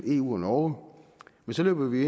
eu og norge men så løber vi